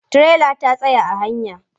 Tirelar ta tsaya a hanya.